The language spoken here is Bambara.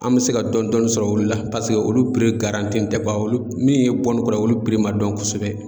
An bɛ se ka dɔɔni sɔrɔ olu la paseke olu tɛ ban olu min ye olu ma dɔn kosɛbɛ.